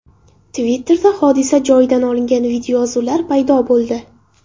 Twitter’da hodisa joyidan olingan videoyozuvlar paydo bo‘ldi.